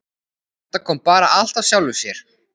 Þetta kom bara allt af sjálfu sér.